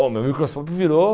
O meu microscópio virou...